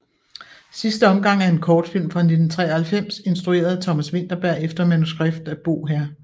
Sidste omgang er en kortfilm fra 1993 instrueret af Thomas Vinterberg efter manuskript af Bo hr